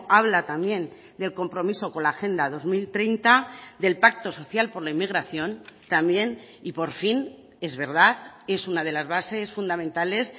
habla también del compromiso con la agenda dos mil treinta del pacto social por la inmigración también y por fin es verdad es una de las bases fundamentales